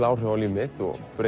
áhrif á líf mitt